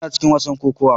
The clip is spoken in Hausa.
Ina cikin wasan kokawa.